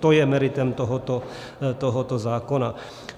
To je meritem tohoto zákona.